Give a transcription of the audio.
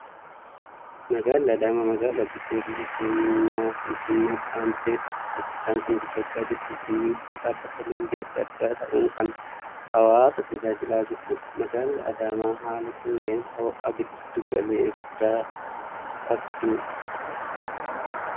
Magaalli Adaamaa magaalaa guddoo biyya keenyaa Finfinneettii aantee saffisa guddaan kan guddachaa jirtuu fi wiirtuu dhaabbata leenjii addaa addaa ta'uun kan hawaasa tajaajilaa jirtudha. Magaalli Adaamaa haala qilleensa ho'aa giddu galeessaa qabdudha.